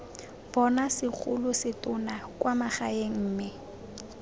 bonwa segolosetonna kwa magaeng mme